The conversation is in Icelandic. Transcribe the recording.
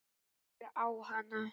Glápir á hana.